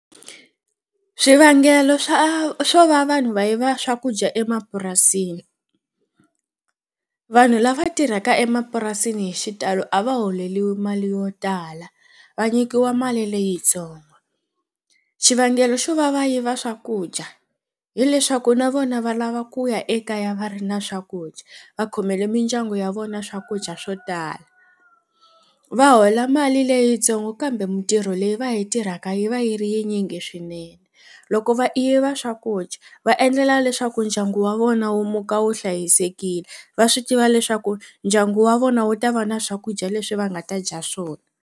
Swivangelo swa swo va vanhu va yiva swakudya emapurasini vanhu lava tirhaka emapurasini hi xitalo a va holeriwi mali yo tala va nyikiwa mali leyitsongo xivangelo xo va va yiva swakudya hileswaku na vona va lava ku ya ekaya va ri na swakudya va khomele mindyangu ya vona swakudya swo tala va hola mali leyintsongo kambe mintirho leyi va yi tirhaka yi va yi ri yi tinyingi swinene loko va yiva swakudya va endlela leswaku ndyangu wa vona wu muka wu hlayisekile va swi tiva leswaku ndyangu wa vona wu ta va na swakudya leswi va nga ta dya swona.